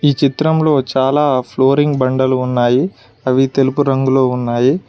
ఈ చిత్రంలో చాలా ఫ్లోరింగ్ బండలు ఉన్నాయి అవి తెలుపు రంగులో ఉన్నాయి